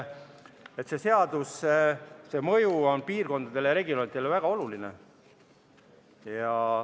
Selle seaduse mõju on piirkondadele ja regioonidele väga oluline.